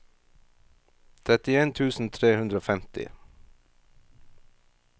trettien tusen tre hundre og femti